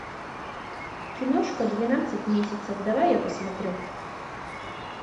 киношка двенадцать месяцев давай я посмотрю